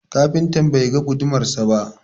Kafinta bai ga gudumarsa ba.